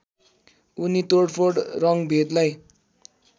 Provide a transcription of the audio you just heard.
उनी तोडफोड रङ्गभेदलाई